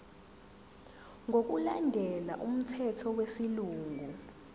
ngokulandela umthetho wesilungu